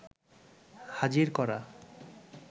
হাজির করা